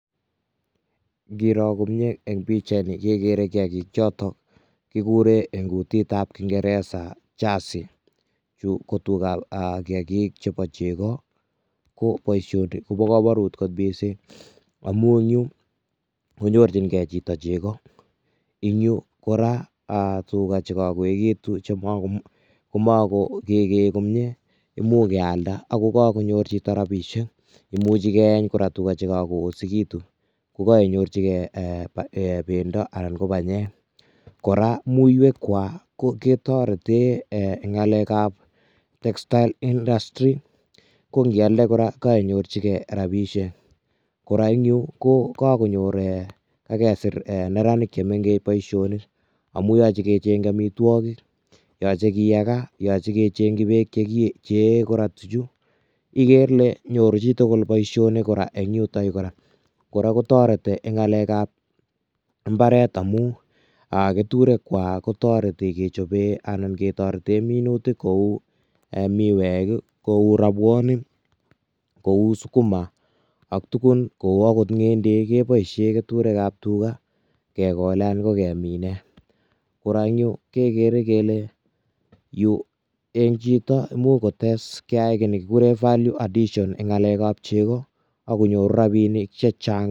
Ingoroo komyei eng pichait ni kegere kiagiik chotoon kiguren en kutit ab ingereza jasii chu tugaah ak kiagiik chebo chegoo ko boisioni kobaa kamanuut koot missing amuun en Yuu koinyorjigei chito chegoo ,en Yu ko tugaah che ka koegituun komagegrr komyei imuuch keyaldaa ago kakonyoor chitoo rapisheek imuchii keyeeny kora tugaah che kagoosegituun ,ko koinyorjigei bendo anan ko panyeek, kora muiweek kwako ketareteen ngalek ab textile industry ko ngiyaal kora ko koinyorjigei rapisheek kora eng yuu ko kakonyoor agesiir neranik chemengeech boisionik amuun yachei kecheengyii boisonik amitwagiik yachei kiyagaa, yachei kecheengyii beek che yee kora tujuu igere Ile nyoruu chi tugul boisionik kora eng yutoon kora ,kora kotaretii en ngalek ab mbaret amuun ketureek kwako kotaretii chekapeen minutiik kou midweek ii, kou rapuonik ,kou sukuma ak tuguun ,kou akoot ngendeek kebaisheen ketureek ab tugaah kegoleen anan ko keminen kora eng Yuu kegere kele Yuu eng chitoo kiy nekigureen value addition eng ab chegoo ago nyoruu rapinik che chaang.